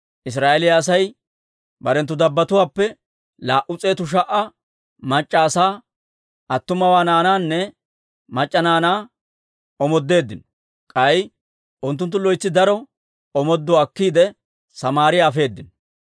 Israa'eeliyaa Asay barenttu dabbatuwaappe laa"u s'eetu sha"a mac'c'a asaa, attuma naanaanne mac'c'a naanaa omoodeeddino; k'ay unttunttu loytsi daro omooduwaa akkiide, Samaariyaa afeedino.